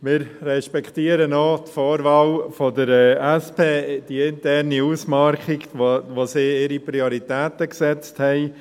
Wir respektieren auch die Vorwahl der SP, diese interne Ausmarchung, in der sie ihre Prioritäten gesetzt hat.